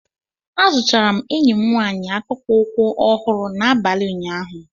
Azụtara m enyi m nwaanyị akpụkpọ ụkwụ ọhụrụ n'abalị ụnyaahụ